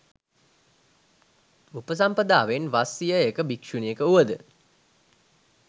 උපසම්පදාවෙන් වස් සියයක භික්‍ෂුණියක වුවද